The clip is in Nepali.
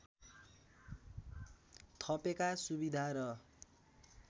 थपेका सुविधा र